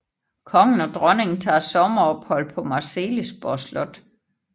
Kongen og dronningen tager sommerophold på Marselisborg Slot